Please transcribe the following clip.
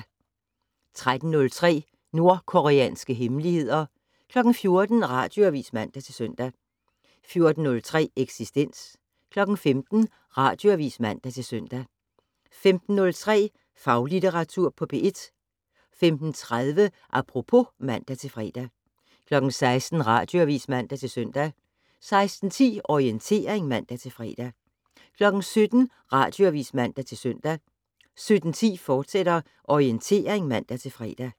13:03: Nordkoreanske hemmeligheder 14:00: Radioavis (man-søn) 14:03: Eksistens 15:00: Radioavis (man-søn) 15:03: Faglitteratur på P1 15:30: Apropos (man-fre) 16:00: Radioavis (man-søn) 16:10: Orientering (man-fre) 17:00: Radioavis (man-søn) 17:10: Orientering, fortsat (man-fre)